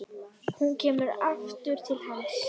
Hún kemur aftur til hans.